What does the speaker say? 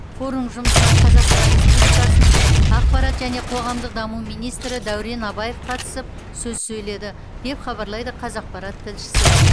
форум жұмысына қазақстан республикасының ақпарат және қоғамдық даму министрі дәурен абаев қатысып сөз сөйледі деп хабарлайды қазақпарат тілшісі